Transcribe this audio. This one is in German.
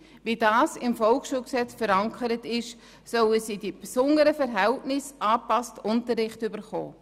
Wie im VSG verankert, sollen sie einen den besonderen Verhältnissen angepassten Unterricht bekommen.